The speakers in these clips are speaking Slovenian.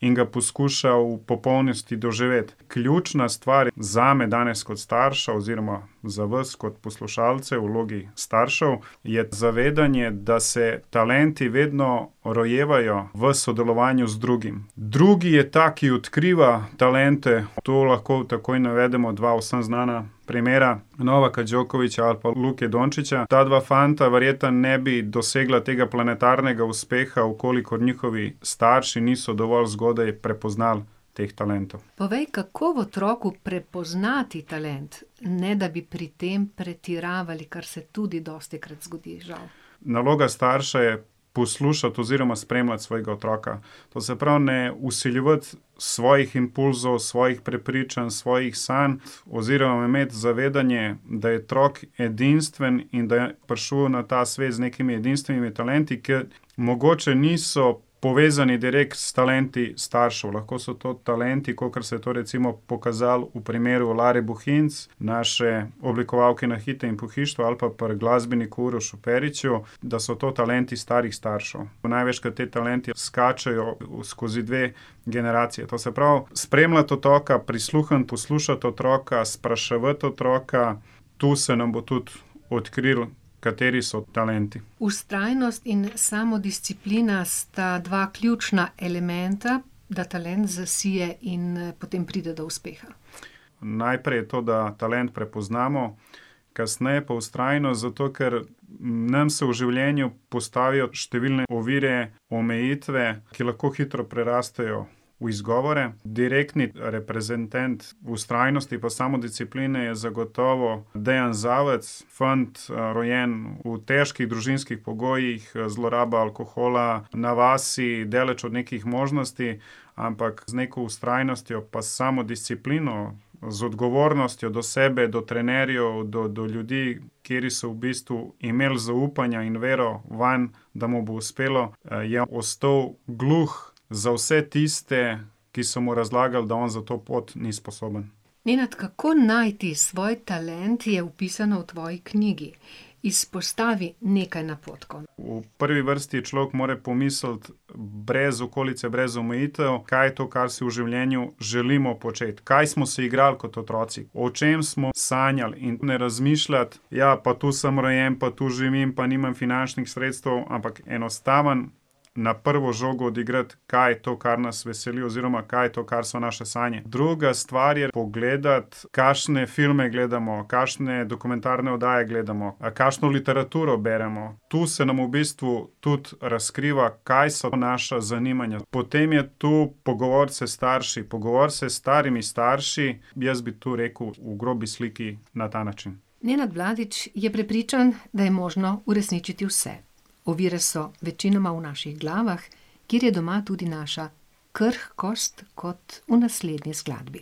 in ga poskuša v popolnosti doživeti. Ključna stvar zame danes kot starša oziroma za vas kot poslušalce v vlogi staršev je zavedanje, da se talenti vedno rojevajo v sodelovanju z drugim. Drugi je ta, ki odkriva talente. Tu lahko takoj navedemo dva vsem znana primera Novaka Djokovića ali pa Luke Dončića. Ta dva fanta verjetno ne bi dosegla tega planetarnega uspeha, v kolikor njihovi starši niso dovolj zgodaj prepoznali teh talentov. Povej, kako v otroku prepoznati talent, ne da bi pri tem pretiravali, kar se tudi dostikrat zgodi, žal. Naloga starša je poslušati oziroma spremljati svojega otroka. To se pravi ne vsiljevati svojih impulzov, svojih prepričanj, svojih sanj, oziroma imeti zavedanje, da je otrok edinstven in da je prišel na ta svet z nekimi edinstvenimi talenti, ke mogoče niso povezni direkt s talenti staršev. Lahko so to talenti, kakor se je to recimo pokazalo v primeru Lare Bohinc, naše oblikovalke nakita in pohištva, ali pa pri glasbeniku Urošu Periču, da so to talenti starih staršev. Največkrat ti talenti skačejo skozi dve generaciji. To se pravi spremljati otroka, prisluhniti, poslušati otroka, spraševati otroka. Tu se nam bo tudi odkrilo, kateri so talenti. Vztrajnost in samodisciplina sta dva ključna elementa, da talent zasije in, potem pride do uspeha. Najprej je to, da ta talent prepoznamo, kasneje pa vztrajnost, zato ker nam se v življenju postavijo številne ovire, omejitve, ki lahko hitro prerastejo v izgovore. Direktni reprezentant vztrajnosti pa samodiscipline je zagotovo Dejan Zavec, fant, rojen v težkih družinskih pogojih, zloraba alkohola, na vasi, daleč od nekih možnosti, ampak z neko vztrajnostjo pa samodisciplino, z odgovornostjo do sebe, do trenerjev, do do ljudi, kateri so v bistvu imeli zaupanje in vero vanj, da mu bo uspelo, je ostal gluh za vse tiste, ki so mu razlagali, da on za to pot ni sposoben. Nenad, kako najti svoj talent, je opisano v tvoji knjigi. Izpostavi nekaj napotkov. V prvi vrsti človek mora pomisliti, brez okolice, brez omejitev, kaj je to, kar si v življenju želimo početi. Kaj smo se igrali kot otroci? O čem smo sanjali? In ne razmišljati: "Ja, pa tu sem rojen, pa tu živim, pa nimam finančnih sredstev." Ampak enostavno na prvo žogo odigrati, kaj je to, kar nas veseli oziroma kaj je to, kar so naše sanje. Druga stvar je pogledati, kakšne filme gledamo, kakšne dokumentarne oddaje gledamo, kakšno literaturo beremo. Tu se nam v bistvu tudi razkriva, kaj so naša zanimanja. Potem je tu pogovoriti se s starši, pogovoriti se s starimi starši, jaz bi tu rekel v grobi sliki na ta način. Nenad Vladić je prepričan, da je možno uresničiti vse. Ovire so večinoma v naših glavah, kjer je doma tudi naša krhkost, kot v naslednji skladbi.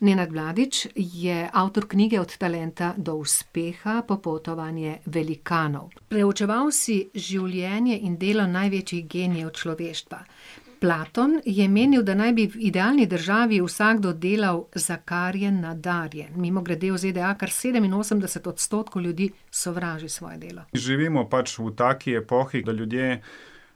Nenad Vladić je avtor knjige Od talenta do uspeha, popotovanje velikanov. Preučeval si življenje in delo največjih genijev človeštva. Platon je menil, da naj bi v idealni državi vsakdo delal, za kar je nadarjen. Mimogrede, v ZDA kar sedeminosemdeset odstotkov ljudi sovraži svoje delo. Živimo pač v taki epohi, da ljudje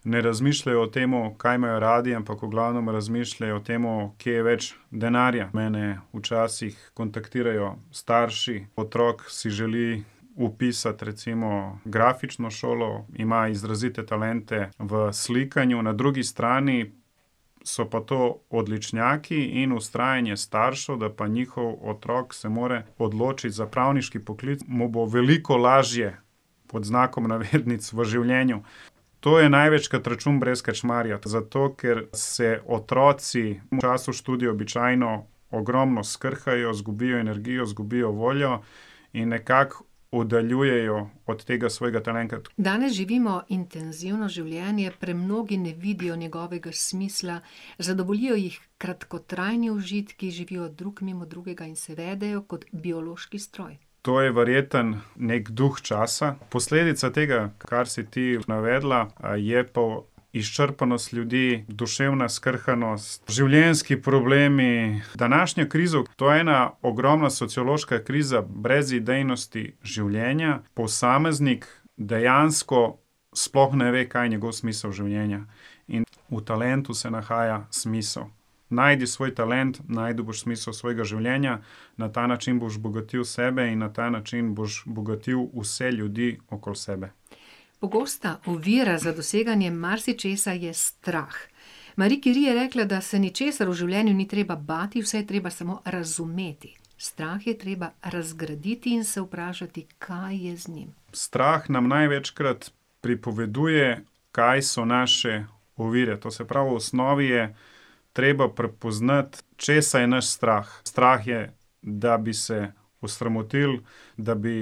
ne razmišljajo o tem, kaj imajo radi, ampak v glavnem razmišljajo o tem, kje je več denarja. Mene včasih kontaktirajo starši. Otrok si želi vpisati recimo grafično šolo, ima izrazite talente v slikanju, na drugi strani so pa to odličnjaki in vztrajanje staršev, da pa njihov otrok se mora odločiti za pravniški poklic. Mu bo veliko lažje, pod znakom navednic, v življenju. To je največkrat račun brez krčmarja, zato ker se otroci v času študija običajno ogromno skrhajo, zgubijo energijo, zgubijo voljo in nekako oddaljujejo od tega svojega talenta. Danes živimo intenzivno življenje, premnogi ne vidijo njegovega smisla, zadovoljijo jih kratkotrajni užitki, živijo drug mimo drugega in se vedejo kot biološki stroj. To je verjetno neki duh časa. Posledica tega, kar si ti navedla, je pa izčrpanost ljudi, duševna skrhanost, življenjski problemi. Današnja kriza, to je ena ogromna sociološka kriza brezidejnosti življenja. Posameznik dejansko sploh ne ve, kaj je njegov smisel življenja. In v talentu se nahaja smisel. Najdi svoj talent, našel boš smisel svojega življenja. Na ta način boš bogatil sebe in na ta način boš bogatil vse ljudi okoli sebe. Pogosta ovira za doseganje marsičesa je strah. Marie Curie je rekla, da se ničesar v življenju ni treba bati, vse je treba samo razumeti. Strah je treba razgraditi in se vprašati, kaj je z njim. Strah nam največkrat pripoveduje, kaj so naše ovire. To se pravi, v osnovi je treba prepoznati, česa je nas strah. Strah je, da bi se osramotil, da bi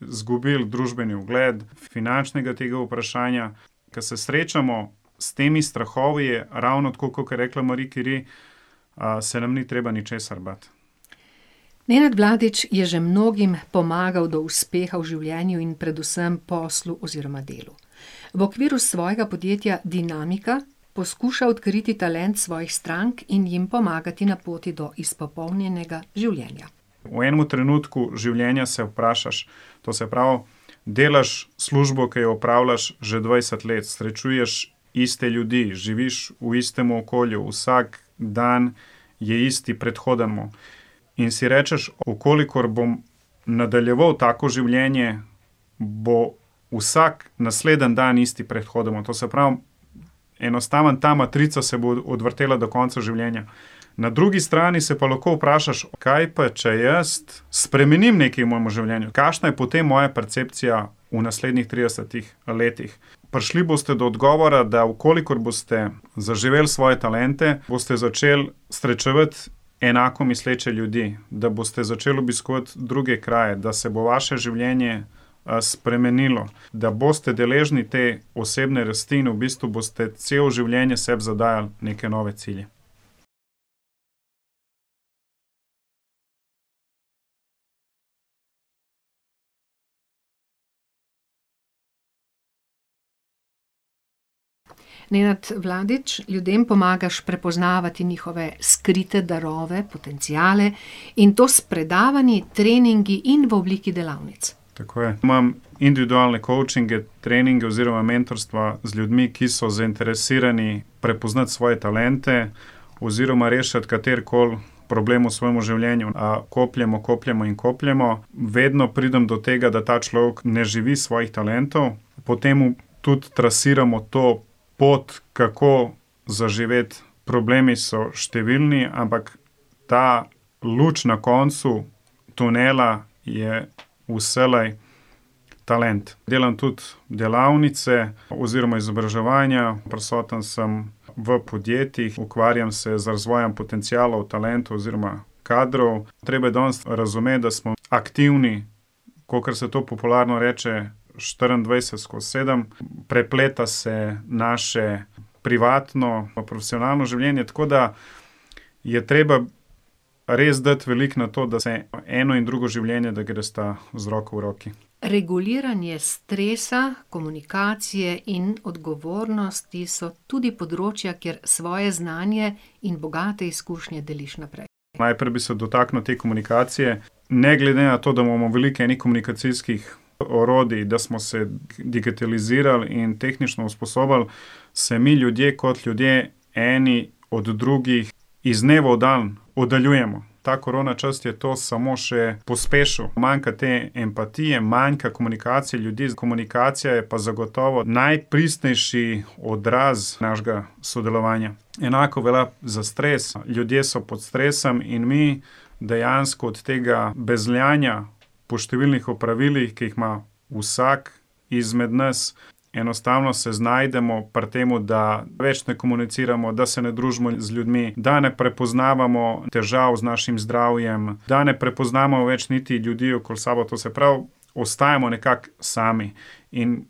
izgubil družbeni ugled, finančnega tega vprašanja. Ke se srečamo s temi strahovi, je ravno tako, kakor je rekla Marie Curie, se nam ni treba ničesar bati. Nenad Vladić je že mnogim pomagal do uspeha v življenju in predvsem poslu oziroma delu. V okviru svojega podjetja Dinamika poskuša odkriti talent svojih strank in jim pomagati na poti do izpopolnjenega življenja. V enemu trenutku življenja se vprašaš, to se pravi, delaš službo, ki jo opravljaš že dvajset let, srečuješ iste ljudi, živiš v istem okolju, vsak dan je isti predhodnemu. In si rečeš: "V kolikor bom nadaljeval tako življenje, bo vsak naslednji dan isti predhodnemu." To se pravi, enostavno ta matrica se bo odvrtela do konca življenja. Na drugi strani se pa lahko vprašaš: "Kaj pa če jaz spremenim nekaj v mojem življenju? Kakšna je potem moja percepcija v naslednjih tridesetih letih?" Prišli boste do odgovora, da v kolikor boste zaživeli svoje talente, boste začeli srečevati enako misleče ljudi, da boste začeli obiskovati druge kraje, da se bo vaše življenje, spremenilo, da boste deležni te osebne rasti in v bistvu boste celo življenje sebi zadajali neke nove cilje. Nenad Vladić, ljudem pomagaš prepoznavati njihove skrite darove, potenciale, in to s predavanji, treningi in v obliki delavnic. Tako je. Imam individualne kovčinge, treninge oziroma mentorstva z ljudmi, ki so zainteresirani prepoznati svoje talente oziroma rešiti katerikoli problem v svojem življenju. kopljemo, kopljemo in kopljemo. Vedno pridem do tega, da ta človek ne živi svojih talentov. Po tem tudi trasiramo to pot, kako zaživeti. Problemi so številni, ampak ta luč na koncu tunela je vselej talent. Delam tudi delavnice oziroma izobraževanja, prisoten sem v podjetjih, ukvarjam se z razvojem potencialov, talentov oziroma kadrov. Treba je danes razumeti, da smo aktivni, kakor se to popularno reče, štiriindvajset skoz sedem. Prepleta se naše privatno pa profesionalno življenje, tako da je treba res dati veliko na to, da se eno in drugo življenje, da gresta z roko v roki. Reguliranje stresa, komunikacije in odgovornosti so tudi področja, kjer svoje znanje in bogate izkušnje deliš naprej. Najprej bi se dotaknil te komunikacije. Ne glede na to, da imamo veliko enih komunikacijskih orodij, da smo se digitalizirali in tehnično usposobili, se mi ljudje kot ljudje eni od drugih iz dneva v dan oddaljujemo. Ta korona čas je to samo še pospešil. Manjka te empatije, manjka komunikacije ljudi, komunikacija je pa zagotovo najpristnejši odraz našega sodelovanja. Enako velja za stres. Ljudje so pod stresam in mi dejansko od tega bezljanja po številnih opravilih, ki jih ima vsak izmed nas, enostavno se znajdemo pri tem, da več ne komuniciramo, da se ne družimo z ljudmi, da ne prepoznavamo težav z našim zdravjem, da ne prepoznamo več niti ljudi okoli sebe. To se pravi, ostajamo nekako sami. In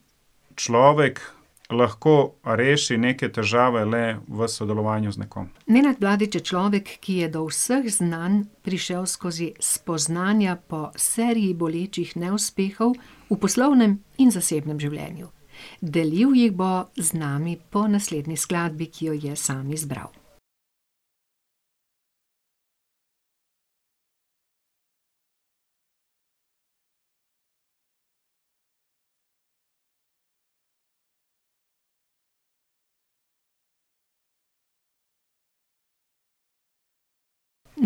človek lahko reši neke težave le v sodelovanju z nekom. Nenad Vladić je človek, ki je do vseh znanj prišel skozi spoznanja po seriji bolečih neuspehov v poslovnem in zasebnem življenju. Delil jih bo z nami po naslednji skladbi, ki jo je sam izbral.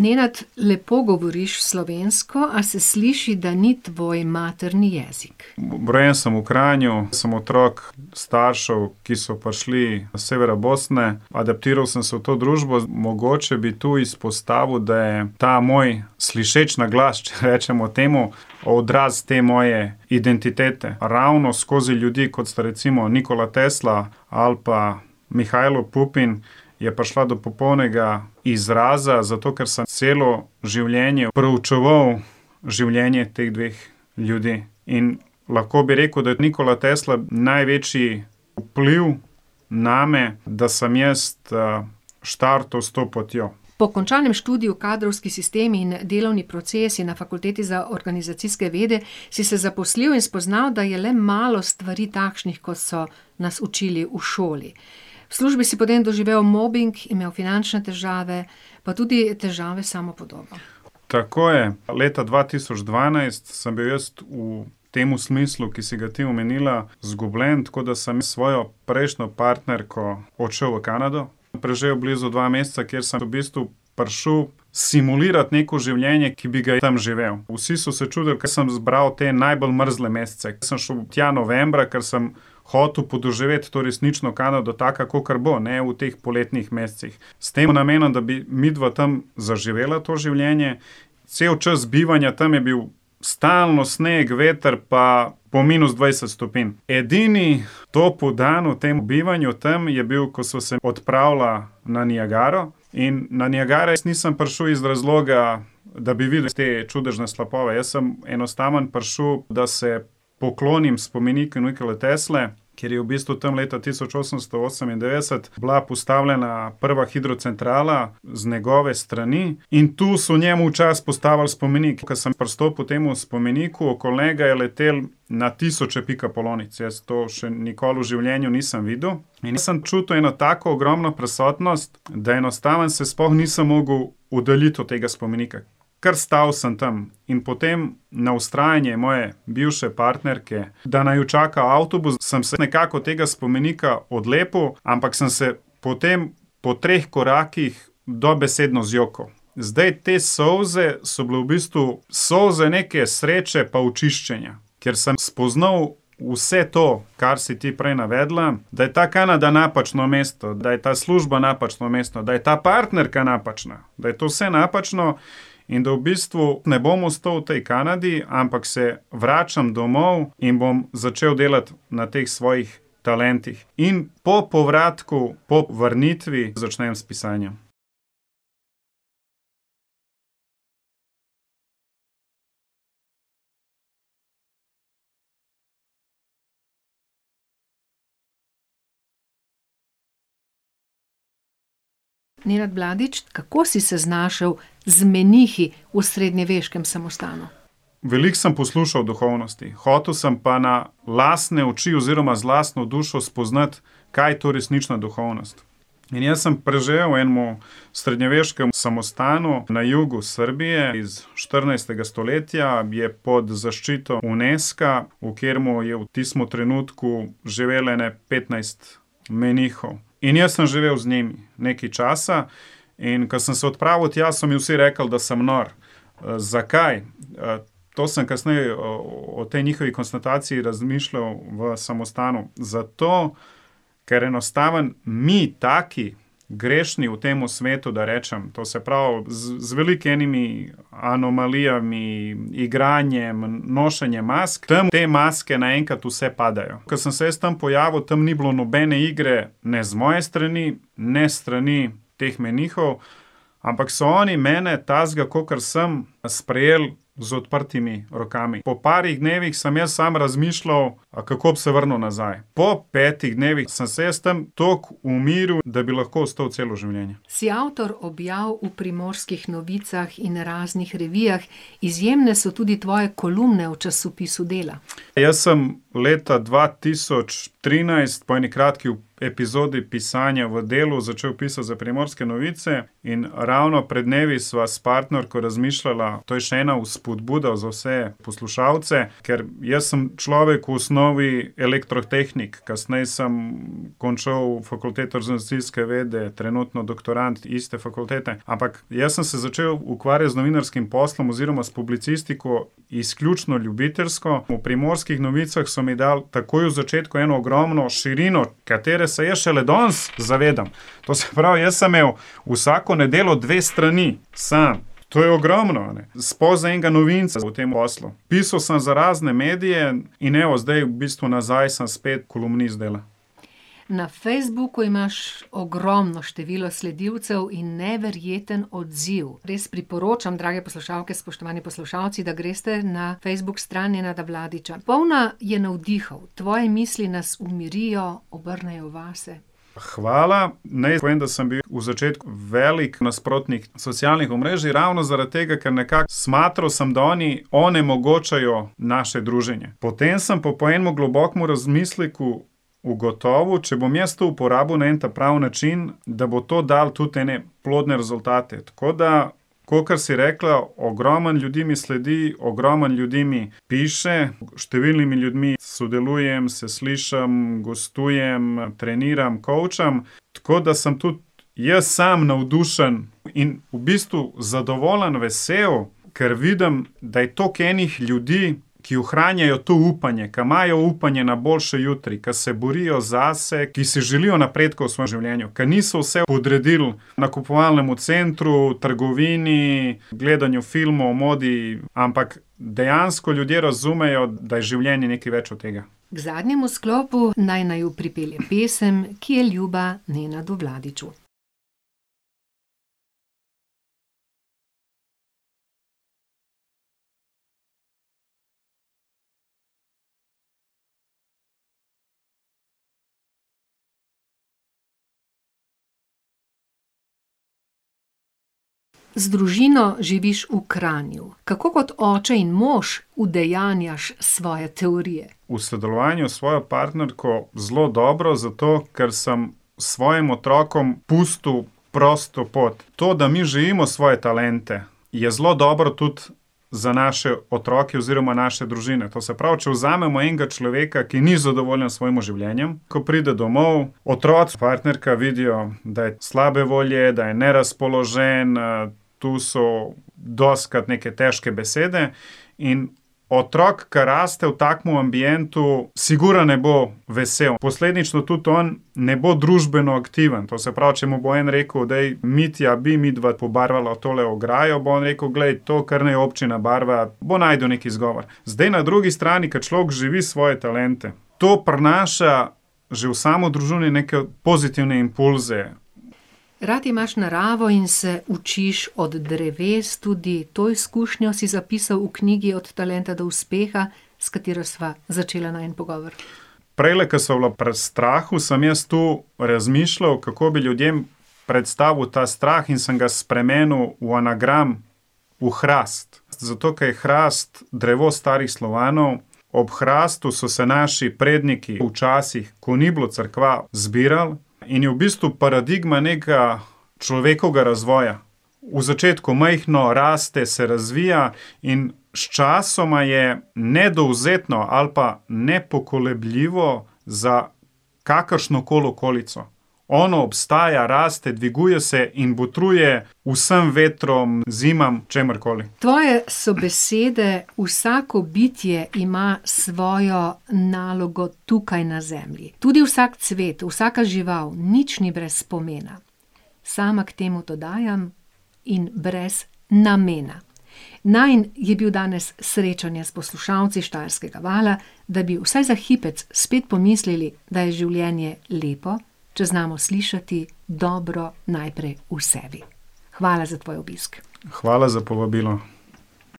Nenad, lepo govoriš slovensko, a se sliši, da ni tvoj materni jezik. Rojen sem v Kranju, sem otrok staršev, ki so prišli s severa Bosne. Adaptiral sem se v to družbo. Mogoče bi tu izpostavil, da je ta moj slišeč naglas, če rečemo temu, odraz te moje identitete. Ravno skozi ljudi, kot sta recimo Nikola Tesla ali pa Mihajlo Pupin, je prišla do popolnega izraza, zato ker sem celo življenje preučeval življenje teh dveh ljudi. In lahko bi rekel, da je Nikola Tesla največji vpliv name, da sem jaz, štartal s to potjo. Po končanem študiju Kadrovski sistemi in delovni procesi na fakulteti za organizacijske vede si se zaposlil in spoznal, da je le malo stvari takšnih, kot so nas učili v šoli. V službi si potem doživel mobing, imel finančne težave, pa tudi težave s samopodobo. Tako je. Leta dva tisoč dvanajst sem bil jaz v temu smislu, ki si ga ti omenila, izgubljen, tako da sem s svojo prejšnjo partnerko odšel v Kanado, preživel blizu dva meseca, kjer sem v bistvu prišel simulirat neko življenje, ki bi ga tam živel. Vsi so se čudili, ko sem zbral te najbolj mrzle mesece. Jaz sem šel tja novembra, ker sem hotel podoživeti to resnično Kanado, taka, kakor bo, ne v teh poletnih mesecih, s tem namenom, da bi midva tam zaživela to življenje. Cel čas bivanja tam je bil stalno sneg, veter pa po minus dvajset stopinj. Edini topel dan v tem bivanju tam je bil, ko sva se odpravila na Niagaro in na Niagaro jaz nisem prišel iz razloga, da bi videl te čudežne slapove. Jaz sem enostavno prišel, da se poklonim spomeniku Nikole Tesle, ker je v bistvu tam leta tisoč osemsto osemindevetdeset bila postavljena prva hidrocentrala z njegove strani. In tu so njemu v čast postavili spomenik. Ko sem pristopil temu spomeniku, okoli njega je letelo na tisoče pikapolonic, jaz to še nikoli v življenju nisem videl. In jaz sem čutil eno tako ogromno prisotnost, da enostavno se sploh nisem mogel oddaljiti od tega spomenika. Kar stal sem tam. In potem na vztrajanje moje bivše partnerke, da naju čaka avtobus, sem se nekako od tega spomenika odlepil, ampak sem se potem po treh korakih dobesedno zjokal. Zdaj, te solze so bile v bistvu solze neke sreče pa očiščenja, ker sem spoznal vse to, kar si ti prej navedla, da je ta Kanada napačno mesto, da je ta služba napačno mesto, da je ta partnerka napačna. Da je to vse napačno in da v bistvu ne bom ostal v tej Kanadi, ampak se vračam domov in bom začel delati na teh svojih talentih. In po povratku, po vrnitvi začnem s pisanjem. Nenad Vladić, kako si se znašel z menihi v srednjeveškem samostanu? Veliko sem poslušal o duhovnosti, hotel sem pa na lastne oči oziroma z lastno dušo spoznati, kaj je to resnična duhovnost. In jaz sem preživel v enem srednjeveškem samostanu na jugu Srbije iz štirinajstega stoletja, je pod zaščito Unesca, v katerem je v tistem trenutku živelo ene petnajst menihov. In jaz sem živel z njimi nekaj časa. In ko sem se odpravil tja, so mi vsi rekli, da sem nor. zakaj? to sem kasneje o tej njihovi razmišljal v samostanu. Zato, ker enostavno mi taki grešni v temu svetu, da rečem, to se pravi z veliko enimi anomalijami, igranjem, nošenjem mask, tam te maske naenkrat vse padejo. Ko sem se jaz tam pojavil, tam ni bilo nobene igre, ne z moje strani, ne s strani teh menihov. Ampak so oni mene takega, kakor sem, sprejel z odprtimi rokami. Po parih dnevih sem jaz sem razmišljal, kako bi se vrnil nazaj. Pol petih dnevih sem se jaz tam tako umiril, da bi lahko ostal celo življenje. Si avtor objav v Primorskih novicah in raznih revijah, izjemne so tudi tvoje kolumne v časopisu Dela. Jaz sem leta dva tisoč trinajst po eni kratki epizodi pisanja v Delu začel pisati za Primorske novice in ravno pred dnevi sva s partnerko razmišljala, to je še ena vzpodbuda za vse poslušalce, ker jaz sem človek v osnovi elektrotehnik. Kasneje sem končal fakulteto za organizacijske vede, trenutno doktorand iste fakultete, ampak jaz sem se začel ukvarjati z novinarskim poslom oziroma s publicistiko izključno ljubiteljsko. V Primorskih novicah so mi dali takoj v začetku eno ogromno širino, katere se jaz šele danes zavedam. To se pravi, jaz sem imel vsako nedeljo dve strani. Sam. To je ogromno, a ne. Sploh za enega novinca v tem poslu. Pisal sem za razne medije in evo, zdaj v bistvu nazaj sem spet kolumnist Dela. Na Facebooku imaš ogromno število sledilcev in neverjeten odziv. Res priporočam, drage poslušalke, spoštovani poslušalci, da greste na Facebook stran Nenada Vladića. Polna je navdihov. Tvoje misli nas umirijo, obrnejo vase. Hvala. Naj povem, da sem bil v začetku velik nasprotnik socialnih omrežij, ravno zaradi tega, ker nekako, smatral sem, da oni onemogočajo naše druženje. Potem sem pa po enem globokem razmisleku ugotovil, če bom jaz to uporabil na en ta pravi način, da bo to dalo tudi ene plodne rezultate. Tako da, kakor si rekla, ogromno ljudi mi sledi, ogromno ljudi mi piše, s številnimi ljudmi sodelujem, se slišim, gostujem, treniram, kovčam. Tako da sem tudi jaz sam navdušen in v bistvu zadovoljen, vesel, ker vidim, da je toliko enih ljudi, ki ohranjajo to upanje, ki imajo upanje na boljši jutri, ke se borijo zase, ki si želijo napredka v svojem življenju, ki niso vse podredili nakupovalnemu centru, trgovini, gledanju filmov, modi, ampak dejansko ljudje razumejo, da je življenje nekaj več od tega. K zadnjemu sklopu naj naju pripelje pesem, ki je ljuba Nenadu Vladiću. Z družino živiš v Kranju. Kako kot oče in mož udejanjaš svoje teorije? V sodelovanju s svojo partnerko zelo dobro zato, ker sem svojim otrokom pustil prosto pot. To, da mi živimo svoje talente, je zelo dobro tudi za naše otroke oziroma za naše družine. To se pravi, če vzamemo enega človeka, ki ni zadovoljen s svojim življenjem. Ko pride domov, otroci, partnerka vidijo, da je slabe volje, da je nerazpoložen, tu so dostikrat neke težke besede. In otrok, ki raste v takem ambientu, sigurno ne bo vesel. Posledično tudi on ne bo družbeno aktiven. To se pravi, če mu bo en rekel: "Daj, Mitja, a bi midva pobarvala tole ograjo?" Bo on rekel: "Glej, to kar naj občina barva." Bo našel neki izgovor. Zdaj na drugi strani, ko človek živi svoje talente, to prinaša že v samo družino neke pozitivne impulze. Rad imaš naravo in se učiš od dreves, tudi to izkušnjo si zapisal v knjigi Od talenta do uspeha, s katero sva začela najin pogovor. Prejle, ko sva bila pri strahu, sem jaz to razmišljal, kako bi ljudem predstavil ta strah, in sem ga spremenil v anagram. V hrast. Zato ker je hrast drevo starih Slovanov, ob hrastu so se naši predniki včasih, ko ni bilo cerkva, zbirali, in je v bistvu paradigma nekega človekovega razvoja. V začetku majhno, raste, se razvija in sčasoma je nedovzetno ali pa nepokolebljivo za kakršnokoli okolico. Ono obstaja, raste, dviguje se in botruje vsem vetrom, zimam, čemurkoli. Tvoje so besede: "Vsako bitje ima svojo nalogo tukaj na zemlji. Tudi vsak cvet, vsaka žival, nič ni brez pomena." Sama k temu dodajam: "In brez namena." Najin je bil danes srečanje s poslušalci Štajerskega vala, da bi vsaj za hipec spet pomislili, da je življenje lepo, če znamo slišati dobro najprej v sebi. Hvala za tvoj obisk. Hvala za povabilo.